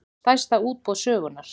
Stærsta útboð sögunnar